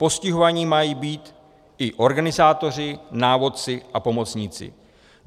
Postihováni mají být i organizátoři, návodci a pomocníci.